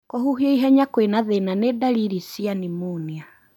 Kũhuhia ihenya kwĩna thĩna nĩ ndariri cia Pneumonia.